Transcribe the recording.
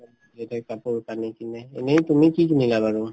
তাতে কাপোৰ-কানি কিনে এনেই তুমি কি কিনিলা তুমি কি কিনিলা বাৰু ?